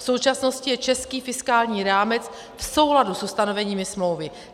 V současnosti je český fiskální rámec v souladu s ustanoveními smlouvy.